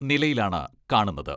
നിലയിലാണ് കാണുന്നത്.